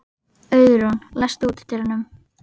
Auðrún, læstu útidyrunum.